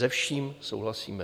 Se vším souhlasíme.